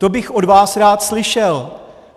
To bych od vás rád slyšel.